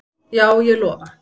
Já, ég lofa